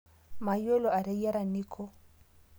Mayiolo ateyiara Niko